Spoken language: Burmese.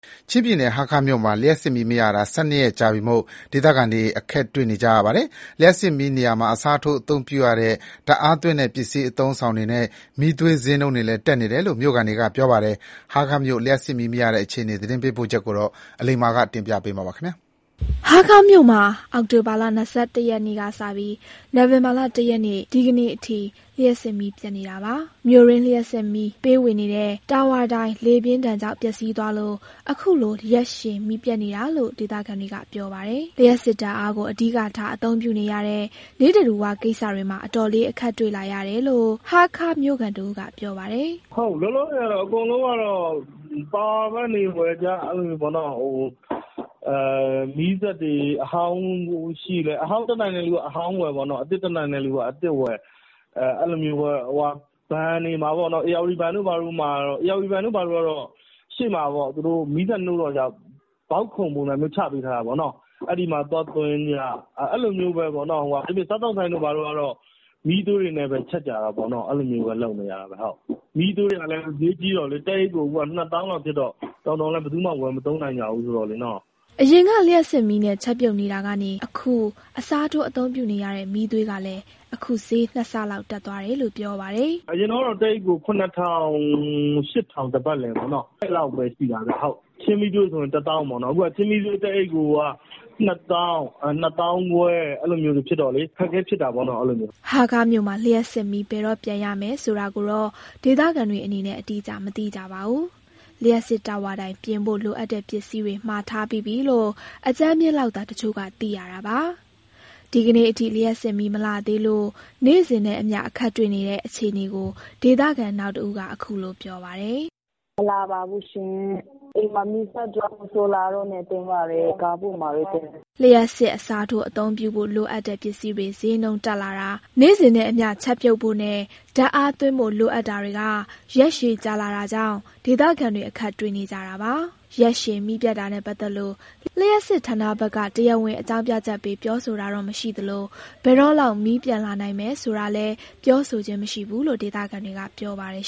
ချင်းပြည်နယ်၊ ဟားခါးမြို့မှာ လျှပ်စစ်မီးမရတာ ၁၂ ရက်ကြာပြီမို့ ဒေသခံတွေ အခက်တွေ့နေကြပါတယ်။ လျှပ်စစ်မီးနေရာမှာ အစားထိုးအသုံးပြုရတဲ့ ဓါတ်အားသွင်းတဲ့ပစ္စည်း အသုံးအဆောင်တွေနဲ့ မီးသွေး ဈေးနှုန်းတွေလည်းတက်နေတယ်လို့ မြို့ခံတွေက ပြောပါတယ်။ ဟားခါးမြို့ လျှပ်စစ်မီးမရတဲ့အခြေအနေ ရန်ကုန်ကလာတဲ့သတင်းပေးပို့ချက်ကို အလိမ္မာက တင်ပြပေးထားပါတယ်။ ဟားခါးမြို့မှာ အောက်တိုဘာလ ၂၁ ရက်နေ့ကစပြီး နိုဝင်ဘာလ ၁ ရက် ဒီကနေ့အထိ လျှပ်စစ်မီး ပြတ်နေတာပါ။ မြို့တွင်း လျှပ်စစ်မီးပေးဝေနေတဲ့တာဝါတိုင် လေပြင်းဒဏ်ကြောင့် ပျက်စီးသွားလို့ အခုလို ရက်ရှည်မီးပျက်နေတာလို့ ဒေသခံတွေက ပြောပါတယ်။ လျှပ်စစ် ဓာတ်အားကို အဓိကထား အသုံးပြုနေရတဲ့ နိစ္စဓူဝကိစ္စတွေမှာ အတော်လေး အခက်တွေ့ လာရတယ်လို့ ဟားခါးမြို့ခံတဦးက ပြောပါတယ်။ "လောလောဆယ်ကတော့ အကုန်လုံးကတော့ Power bank တွေဝယ်ကြ။ မီးစက်လည်း အဟောင်းတတ်နိုင်တဲ့သူက အဟောင်းဝယ်၊ အသစ်တတ်နိုင်တဲ့သူက အသစ်ဝယ်ကြပေါ့။ ဘဏ်တို့ ဘာတို့ကလည်း ဧရာဝတီဘဏ်ဆိုရင် သူ့ရှေ့မှာ မီးစက်နှိုးတော့ ဘောက်ခုံပုံစံမျိုး ချပေးထားတာပေါ့နော်။ အဲဒီမှာ အားသွားသွင်းကြတာပေါ့။ စားသောက်ဆိုင်တို့ ဘာတို့ ကတော့ မီးသွေးတွေနဲ့ ချက်ကြရတာပေါ့နော်။ အဲလိုမျိုးပဲ လုပ်နေကြရတာပဲ။ မီးသွေးတွေ ကလည်း ဈေးကြီးတော့လေ တအိတ်ကို အခုက ၂ သောင်းလောက်ဖြစ်တော့ တော်ရုံတန်ရုံလည်း ဘယ်သူမှဝယ် မသုံးနိုင်ကြဘူးလေ။" အရင်က လျှပ်စစ်မီးနဲ့ ချက်ပြုတ်နေတာကနေ အခု အစားထိုး အသုံးပြုနေရတဲ့ မီးသွေးကလည်း အခု ဈေး ၂ ဆ လောက် တက်သွားတယ်လို့ ပြောပါတယ်။ "အရင်တုန်းကတော့ တအိတ်ကို ၇ ထောင်၊ ၈ ထောင် ပတ်လည်ပေါ့နော်။ အဲဒီလောက်ပဲ ရှိတာဗျ။ ချင်းမီးသွေးဆို ၁ သောင်းပေါ့နော်။ အခုက ချင်းမီးသွေးတအိတ်ကို ၂ သောင်း၊ ၂ သောင်းခွဲ အဲလိုမျိုး ဖြစ်တော့လေ အခက်အခဲ ဖြစ်တာပေါ့နော်။" ဟားခါးမြို့မှာ လျှပ်စစ်မီး ဘယ်တော့ပြန်ရမယ်ဆိုတာကိုတော့ ဒေသခံတွေအနေနဲ့ အတိအကျ မသိကြပါဘူး။ လျှပ်စစ်တာဝါတိုင် ပြင်ဖို့လိုအပ်တဲ့ပစ္စည်းတွေ မှာထားပြီးပြီလို့ အကြမ်းဖျဉ်းလောက်သာ တချို့ကသိရတာပါ။ ဒီကနေ့အထိ လျှပ်စစ်မီးမလာသေးလို့ နေ့စဉ်နဲ့အမျှ အခက်တွေ့နေတဲ့ အခြေအနေကို ဒေသခံနောက်တဦးက အခုလိုပြောပါတယ်။ "မီး မလာပါဘူးရှင်။ အိမ်မှာ မီးပျက်တော့ ဆိုလာပြားနဲ့ ဖုန်းအားသွင်းရတယ်။ ကားဂိတ်မှာ သွင်းရတယ်။" လျှပ်စစ်အစားထိုး အသုံးပြုဖို့ လိုအပ်တဲ့ပစ္စည်းတွေ ဈေးနှုန်းတက်လာတာ၊ နေ့စဉ်နဲ့အမျှ ချက်ပြုတ်ဖို့နဲ့ ဓာတ်အားသွင်းဖို့ လိုအပ်တာတွေက ရက်ရှည်ကြာလာတာကြောင့် ဒေသခံတွေ အခက်တွေ့နေကြတာပါ။ ရက်ရှည်မီးပြတ်နေတာနဲ့ ပတ်သက်လို့ လျှပ်စစ်ဌာနဘက်က တရားဝင် အကြောင်းပြချက်ပေး ပြောဆိုတာတော့ မရှိသလို ဘယ်တော့လောက် မီးပြန် လာနိုင်မယ်ဆိုတာလည်း ပြောဆိုခြင်း မရှိဘူးလို့ ဒေသခံတွေက ပြောပါတယ်